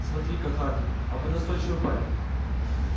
смотрите-ка хардин а вы настойчивый парень